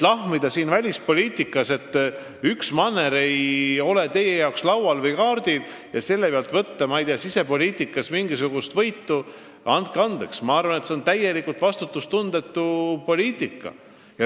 Väita siin välispoliitikat arutades lahmivalt, et üks manner ei ole teie silmis oluline, ning püüda selle eest sisepoliitikas mingisuguseid punkte saada – andke andeks, ma arvan, et see on täiesti vastutustundetu.